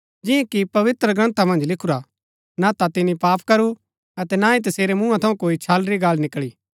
जिन्या कि पवित्रग्रन्था मन्ज लिखुरा हा ना ता तिनी पाप करू अतै ना ही तसेरै मुँहा थऊँ कोई छल री गल्ल निकळी